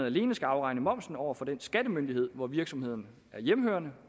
alene skal afregne moms over for den skattemyndighed hvor virksomheden er hjemmehørende